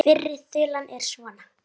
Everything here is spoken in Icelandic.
Fyrri þulan er svona